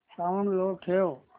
sound low ठेव